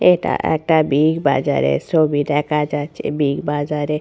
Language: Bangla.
এটা একটা বিগ বাজার এর ছবি দেখা যাচ্ছে বিগ বাজার এ।